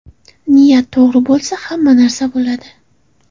Niyat to‘g‘ri bo‘lsa, hamma narsa bo‘ladi.